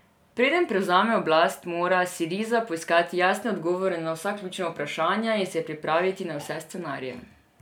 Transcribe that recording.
Preden prevzame oblast, mora Siriza poiskati jasne odgovore na vsa ključna vprašanja in se pripraviti na vse scenarije.